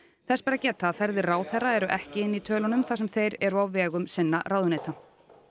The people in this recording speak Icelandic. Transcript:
þess ber að geta að ferðir ráðherra eru ekki inni í tölunum þar sem þeir eru á vegum ráðuneytanna